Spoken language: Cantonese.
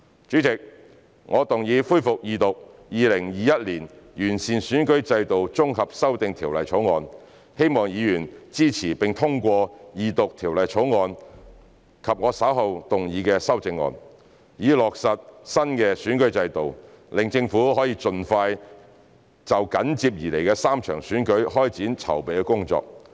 主席，我動議恢復二讀《2021年完善選舉制度條例草案》，希望議員支持並通過二讀《條例草案》及我稍後動議的修正案，以落實新選舉制度，讓政府盡快就緊接而來的3場選舉開展籌備工作。